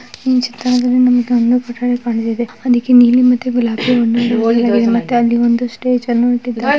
ಈ ಚಿತ್ರದಲ್ಲಿ . ಅದಕ್ಕೆ ನೀಲಿ ಮತ್ತೆ ಗುಲಾಬಿ ಮತ್ತೆ ಅಲ್ಲಿ ಒಂದು ಸ್ಟೇಜ್ ಅನ್ನು ಹಾಕಿದ್ದಾರೆ.